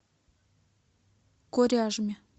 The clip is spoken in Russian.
коряжме